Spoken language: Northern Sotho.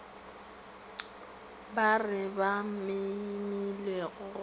ba re ba memilego go